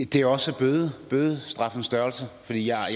det er også om bødestraffens størrelse for jeg er